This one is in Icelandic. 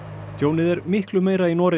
tjónið er miklu meira í Noregi